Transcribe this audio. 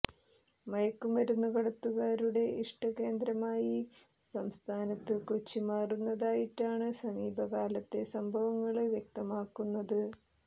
മയക്കു മരുന്നുകടത്തുകാരുടെ ഇഷ്ട കേന്ദ്രമായി സംസ്ഥാനത്ത് കൊച്ചി മാറുന്നതായിട്ടാണ് സമീപകാലത്തെ സംഭവങ്ങള് വ്യക്തമാകുന്നത്